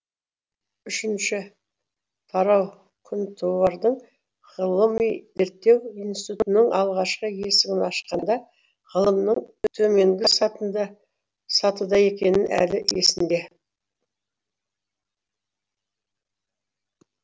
үшінші тараукүнтуардың ғылыми зерттеу институтының алғашқы есігін ашқанда ғылымның төменгі сатыда сатыда екені әлі есінде